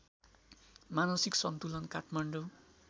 मानसिक सन्तुलन काठमाडौँ